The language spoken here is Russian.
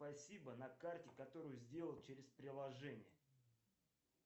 спасибо на карте которую сделал через приложение